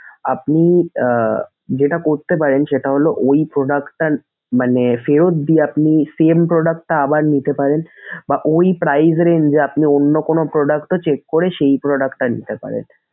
আপনি আহ যেটা করতে পারেন সেটা হলো ঐ product টা মানে ফেরত দিয়ে মানে আপনি same product টা আবার নিতে পারেন বা ওই price range এ আপনি অন্য কোনো product ও check করে সেই product টা নিতে পারেন।